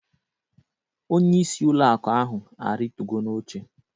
Onyeisi ụlọ akụ ahụ arịtugo n'oche